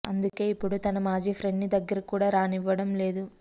అందుకే ఇపుడు తన మాజీ ప్రెండ్ని దగ్గరికి కూడ రానివ్వటం లేదు